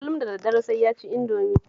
Kullum da daddare sai ya ci Indomi